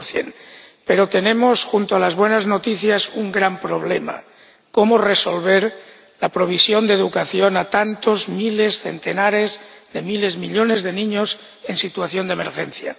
4 Pero tenemos, junto a las buenas noticias, un gran problema cómo resolver la provisión de educación a tantos miles, centenares de miles, millones de niños en situación de emergencia.